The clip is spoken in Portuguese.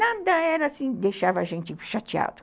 Nada era assim, deixava a gente chateado.